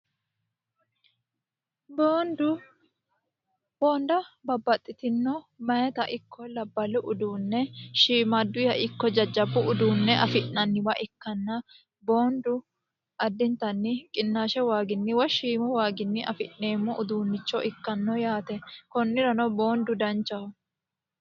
Boonidu boonidda babbaxitinno meyaata ikko labbalu uduunne shimaaduyiha ikko jajjabu uduune afi'nanniwa ikkana boonidu addinitanni qinaashe waaginni woy shiimu waaginni afi'neemo uduunicho ikkano yaate konnirano boonidu danichaho.